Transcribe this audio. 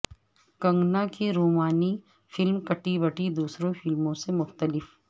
کنگنا کی رومانی فلم کٹی بٹی دوسری فلموں سے مختلف